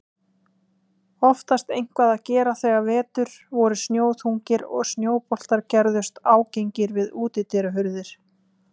Oftast eitthvað að gera þegar vetur voru snjóþungir og snjóboltar gerðust ágengir við útidyrahurðir.